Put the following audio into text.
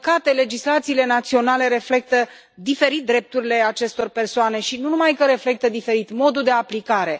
Din păcate, legislațiile naționale reflectă diferit drepturile acestor persoane și, nu numai că le reflectă diferit, ci diferă și modul de aplicare.